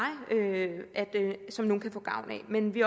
som nogle kan få gavn af men vi